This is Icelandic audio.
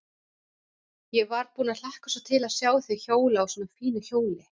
Ég var búin að hlakka svo til að sjá þig hjóla á svona fínu hjóli.